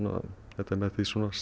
þetta er með